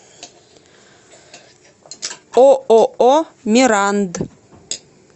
ооо миранд